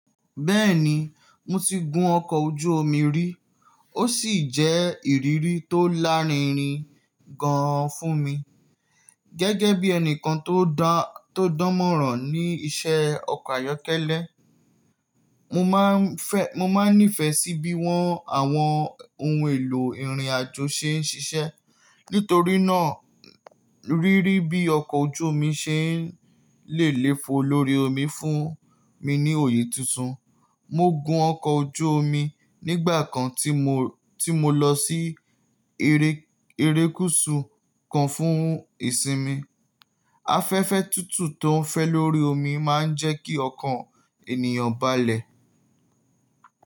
Bẹ́ẹ̀ni, mo ti gun ọkọ̀ ojú omi rí, ó sì jẹ́ ìrírí tó lárinrin gan an fún mi. Gẹ́gẹ́ bí ẹni kan tó da to dánmọ̀ràn ní iṣẹ́ ọkọ̀ ayọ́kẹ́lẹ́, mo máa n fe mo maa nífẹ̀ẹ́ sí bí won àwọn ohun èlò ìrìnàjò ṣe ń ṣiṣẹ́. Nítorí náà, rírí bí ọkọ̀ ojú omi ṣe n lè léfo lórí omi fún mi ní òye tuntun. Mo gun ọkọ̀ ojú omi nígbà kan tí mo lọ sí erékùṣù kan fún ìsinmi. Afẹ́fẹ́ tútù tó ń fẹ́ lórí omi máa ń jẹ́ kí ọkàn ènìyàn balẹ̀.